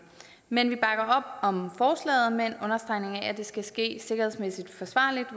men vi bakker om forslaget med en understregning af at det skal ske sikkerhedsmæssigt forsvarligt